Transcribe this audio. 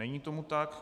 Není tomu tak.